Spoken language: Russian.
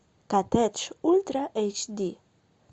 коттедж ультра эйч ди